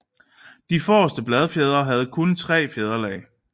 De forreste bladfjedre havde nu kun tre fjederlag